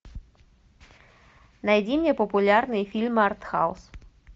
найди мне популярные фильмы артхаус